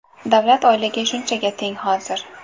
Davlat oyligi shunchaga teng hozir.